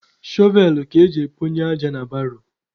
Shọvel ka eji ekponye aja na baro.